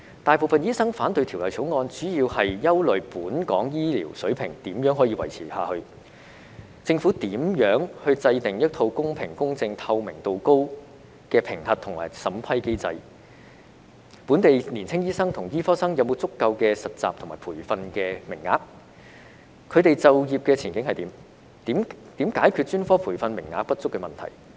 大部分醫生反對《條例草案》，主要是憂慮本港的醫療水平如何維持下去；政府如何制訂一套公平、公正及透明度高的評核和審批機制；本地年青醫生和醫科生有否足夠的實習和培訓名額，他們的就業前景為何；及如何解決專科培訓名額不足問題。